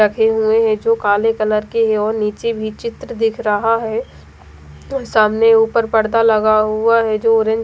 रखे हुए हैं जो काले कलर के हैं और नीचे भी चित्र दिख रहा है सामने ऊपर पर्दा लगा हुआ है जो ऑरेंज --